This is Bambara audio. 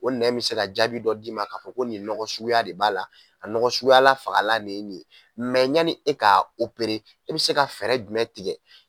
O nɛn bɛ se ka jaabi dɔ d'i ma k'a fɔ ko nin nɔgɔ suguya de b'a la a nɔgɔ suguya la fagalan de ye nin ye yanni e ka e bɛ se ka fɛɛrɛ jumɛn tigɛ